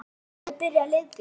En mun Gylfi byrja leikinn?